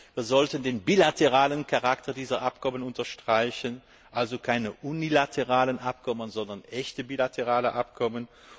Zweitens Wir sollten den bilateralen Charakter dieser Abkommen unterstreichen, also keine unilateralen Abkommen, sondern echte bilaterale Abkommen.